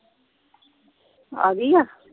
ਆ ਗਈ ਆ।